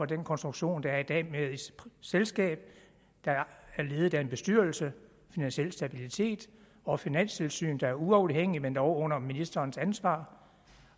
den konstruktion der er i dag med et selskab der er ledet af en bestyrelse finansiel stabilitet og finanstilsynet der er uafhængigt men dog under ministerens ansvar og